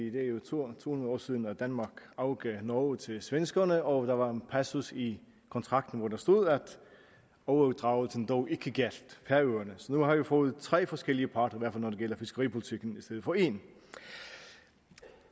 er jo to hundrede år siden danmark afgav norge til svenskerne og der var en passus i kontrakten hvor der stod at overdragelsen dog ikke gjaldt færøerne så nu har vi fået tre forskellige parter i når det gælder fiskeripolitikken i stedet for én